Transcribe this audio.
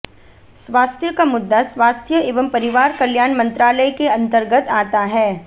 स्वास्थ्य का मुद्दा स्वास्थ्य एवं परिवार कल्याण मंत्रालय के अंतर्गत आता है